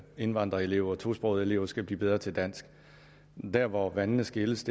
at indvandrerelever tosprogede elever skal blive bedre til dansk men der hvor vandene skilles